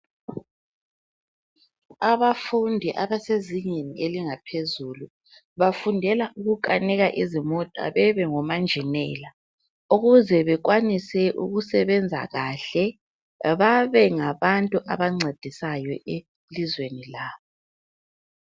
Abafundi abasezingeni elingaphezulu bafundela ukukanika izimota bebe ngomanjinela ukuze bekwanise ukusebenza kahle babe ngabantu abancedisayo elizweni labo.